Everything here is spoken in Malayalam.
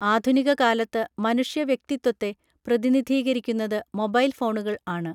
ആധുനിക കാലത്ത് മനുഷ്യവ്യക്തിത്വത്തെ പ്രതിനിധീകരിക്കുന്നത് മൊബൈൽ ഫോണുകൾ ആണ്